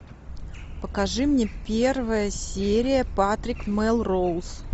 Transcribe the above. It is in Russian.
покажи мне первая серия патрик мелроуз